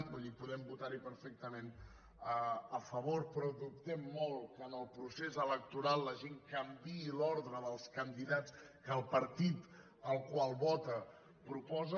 vull dir podem votarhi perfectament a favor però dubtem molt que en el procés electoral la gent canviï l’ordre dels candidats que el partit al qual vota proposa